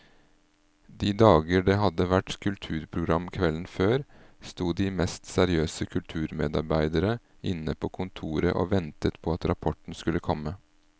De dager det hadde vært kulturprogram kvelden før, sto de mest seriøse kulturmedarbeidere inne på kontoret og ventet på at rapporten skulle komme.